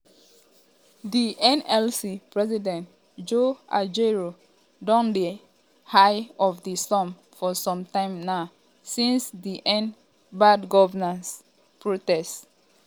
um di nlc president joe ajaero don dey di eye of di storm for some time now since di end bad governance protest.